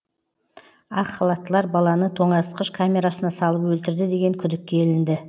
ақ халаттылар баланы тоңазытқыш камерасына салып өлтірді деген күдікке ілінді